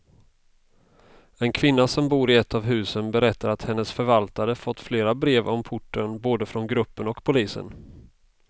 En kvinna som bor i ett av husen berättar att hennes förvaltare fått flera brev om porten, både från gruppen och polisen.